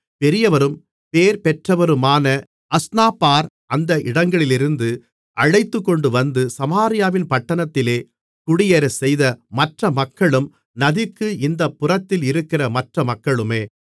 பெரியவரும் பேர்பெற்றவருமான அஸ்னாப்பார் அந்த இடங்களிலிருந்து அழைத்துக்கொண்டுவந்து சமாரியாவின் பட்டணத்திலே குடியேறச் செய்த மற்ற மக்களும் நதிக்கு இந்தப் புறத்தில் இருக்கிற மற்ற மக்களுமே